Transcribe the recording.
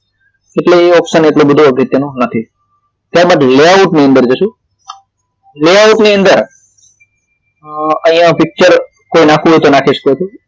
એટલે એ option એટલો બધો અગત્યનો નથી ત્યારબાદ layout ની અંદર જશું layout ની અંદર અહિયાં પિચચર કોઈ નાખવું હોય તો નાખી શકો છો